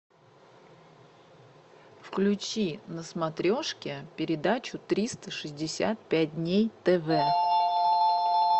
включи на смотрешке передачу триста шестьдесят пять дней тв